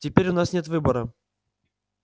теперь у нас нет выбора